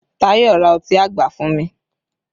Tayọ ra ọtí àgbà fún mi